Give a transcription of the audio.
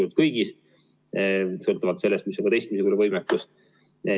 ka sellest, missugune on testimise võimekus.